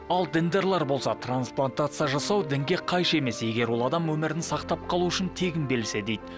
ал діндарлар болса трансплантация жасау дінге қайшы емес егер ол адам өмірін сақтап қалу үшін тегін берілсе дейді